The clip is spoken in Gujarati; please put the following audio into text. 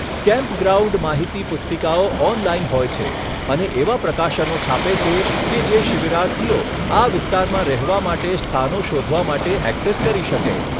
કેમ્પગ્રાઉન્ડ માહિતી પુસ્તિકાઓ ઓનલાઈન હોય છે અને એવા પ્રકાશનો છાપે છે કે જે શિબિરાર્થીઓ આ વિસ્તારમાં રહેવા માટે સ્થાનો શોધવા માટે ઍક્સેસ કરી શકે.